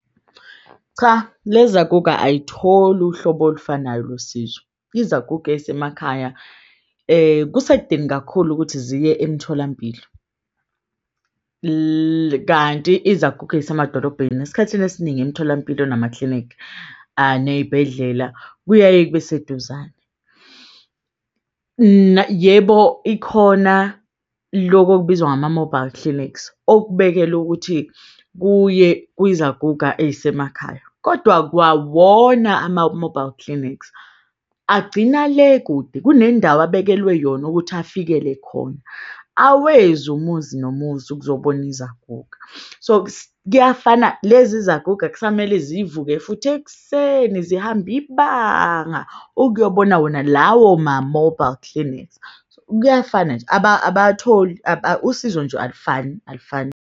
Cha, lezaguga ayitholi uhlobo olufanayo losizo. Izaguga eyisemakhaya kusekudeni kakhulu ukuthi ziye emtholampilo, kanti izaguga eyisemadolobheni esikhathini esiningi emtholampilo namaklinikhi, neibhedlela kuyaye kube seduzane. Yebo, ikhona loku okubizwa ngama-mobile clinics okubekelwe ukuthi kuye kwizaguga eyisemakhaya kodwa kwawona ama-mobile clinics agcina le kude kunendawo abekelwe yona ukuthi afikele khona. Awezi umuzi nomuzi, ukuzobona izaguga so kuyafana lezi zaguga kusamele zivuke futhi ekuseni zihambe ibanga ukuyobona wona lawo ma-mobile clinics. So, kuyafana nje abatholi usizo nje, alifani alifani.